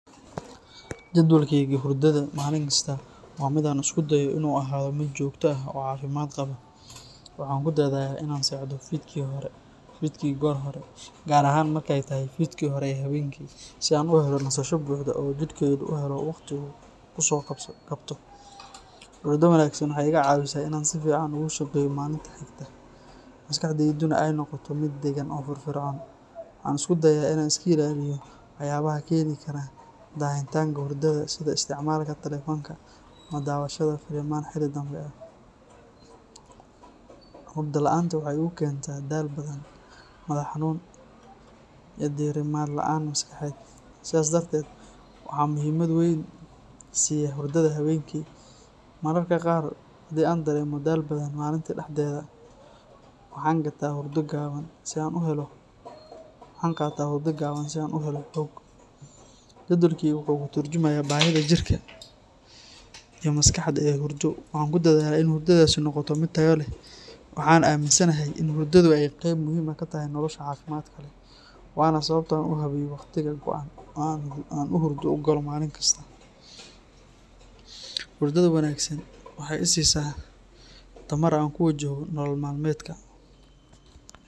Jadwalkayga hurdada maalinkasta waa mid aan isku dayo inuu ahaado mid joogto ah oo caafimaad qaba. Waxaan ku dadaalaa inaan seexdo fiidkii goor hore, gaar ahaan markay tahay fiidkii hore ee habeenkii, si aan u helo nasasho buuxda oo jidhkaygu u helo waqti uu ku soo kabto. Hurdo wanaagsan waxay iiga caawisaa inaan si fiican ugu shaqeeyo maalinta xigta, maskaxdayduna ay noqoto mid degan oo firfircoon. Waxaan isku dayaa inaan iska ilaaliyo waxyaabaha keeni kara daahitaanka hurdada sida isticmaalka taleefanka ama daawashada filimaan xilli dambe ah. Hurdo la'aanta waxay igu keentaa daal badan, madax xanuun iyo diirimaad la’aan maskaxeed, sidaas darteed waxaan muhiimad weyn siiya hurdada habeenkii. Mararka qaar, haddii aan dareemo daal badan maalintii dhexdeeda, waxaan qaataa hurdo gaaban si aan u helo xoog. Jadwalkaygu wuxuu ka tarjumayaa baahida jirka iyo maskaxda ee hurdo, waxaana ku dadaalaa in hurdadaasi noqoto mid tayo leh. Waxaan aaminsanahay in hurdadu ay qayb muhiim ah ka tahay nolosha caafimaadka leh, waana sababta aan u habeeyo wakhti go’an oo aan hurdo u galo maalin kasta. Hurdada wanaagsan waxay i siisaa tamar aan ku wajaho nolol maalmeedka.